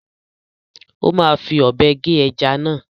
Ó máa fi ọ̀bẹ gé ẹja náà.